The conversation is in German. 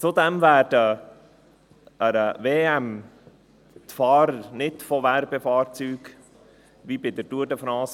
Zudem werden an einer WM die Fahrer nicht von Werbefahrzeugen begleitet wie bei der Tour de France.